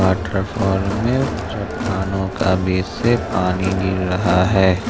Waterfall में चट्टानों का बीच से पानी गिर रहा है।